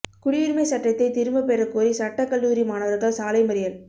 குடியுரிமை சட்டத்தை திரும்ப பெறக் கோரி சட்டக்கல்லூரி மாணவா்கள் சாலை மறியல்